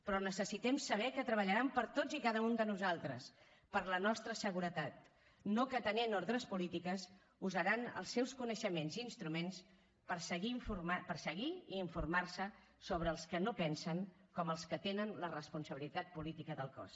però necessitem saber que treballaran per a tots i cada un de nosaltres per la nostra seguretat no que atenent ordres polítiques usaran els seus coneixements i instruments per seguir i informar se sobre els que no pensen com els que tenen la responsabilitat política del cos